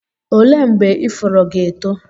olee mgbe ifuru ga-eto?